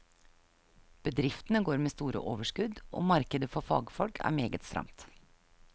Bedriftene går med store overskudd og markedet for fagfolk er meget stramt.